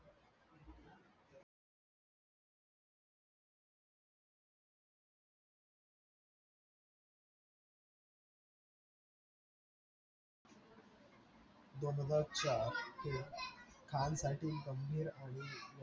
दोन हजार चार हे खान साठी गंभीर आणि